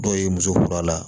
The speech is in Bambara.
Dɔw ye muso kura la